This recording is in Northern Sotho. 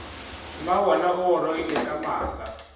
mmabona o gorogile ka masa